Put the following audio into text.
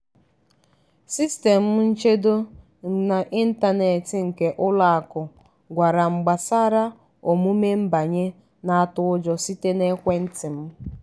sistemụ nchedo n’ịntanetị nke ụlọ akụ gwara m gbasara omume nbanye na-atụ ụjọ site n’ekwentị m.